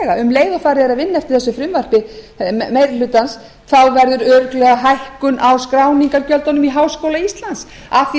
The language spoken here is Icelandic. leið og farið er að vinna eftir þessu frumvarpi meiri hlutans þá verður örugglega hækkun á skráningargjöldum í háskóla íslands af því